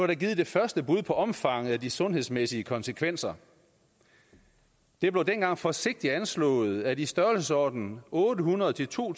der givet det første bud på omfanget af de sundhedsmæssige konsekvenser det blev dengang forsigtigt anslået at i størrelsesordenen otte hundrede til to